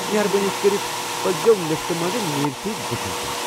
مہربٲنی كرِتھ پٔکِزیو لفٹہٕ منٛزٕ نیٖرتھ دٔچھُن کُن۔